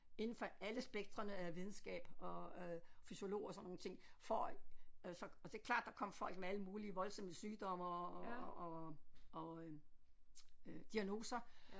Inden for alle spektrene af videnskab og øh fysiolog og sådan nogle ting for at så og det er klart der kom folk med alle mulige voldsomme sygdomme og og og og øh øh diagnoser